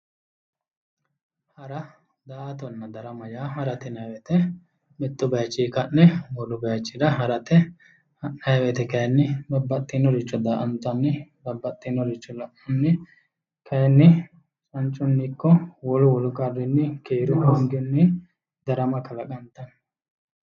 Hara, daa"attonna darama yaa ,harate yinnanni woyte mitu bayichini ka'ne wolu bayichira harate, ha'nanni woyte kayinni babbaxinoricho daa"attanni, babbaxinoricho la'nanni kayinni manchuni ikko wolu wolu qarrinni keeru hoongini darama kalaqantano.